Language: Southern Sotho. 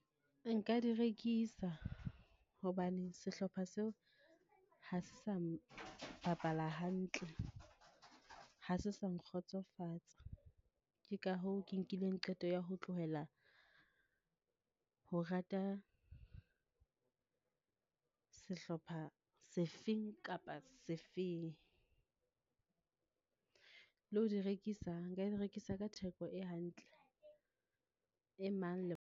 Nka di rekisa, hobane sehlopha seo ha se sa bapala hantle, ha se sa nkgotsofatsa. Ke ka hoo ke nkileng qeto ya ho tlohela ho rata sehlopha sefeng kapa sefeng, le ho di rekisa, nka di rekisa ka theko e hantle, e mang le.